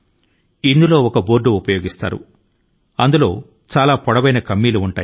ఆట లో భాగం గా అనేక గుంట లు ఉంటాయి